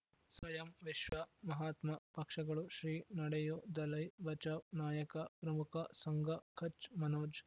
ಸ್ವಯಂ ವಿಶ್ವ ಮಹಾತ್ಮ ಪಕ್ಷಗಳು ಶ್ರೀ ನಡೆಯೂ ದಲೈ ಬಚೌ ನಾಯಕ ಪ್ರಮುಖ ಸಂಘ ಕಚ್ ಮನೋಜ್